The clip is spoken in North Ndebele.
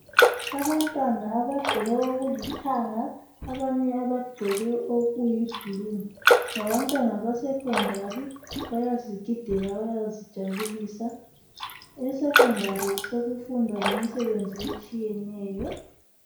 Abantwana abagqoke okulithanga, abanye bagqoke okuyi blue. Ngabantwana besekhondari, bayazigidela, bayazijabulisa. Esekhondari sekufundwa lemisebenzi etshiyeneyo